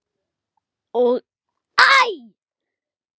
og Æ!